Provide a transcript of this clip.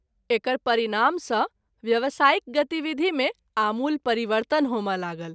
एकर परिणाम सँ व्यवसायिक गतिविधि मे आमूल परिवर्तन होमय लागल।